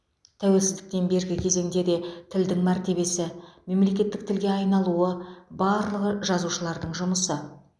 тәуелсіздіктен бергі кезеңде де тілдің мәртебесі мемлекеттік тілге айналуы барлығы жазушылардың жұмысы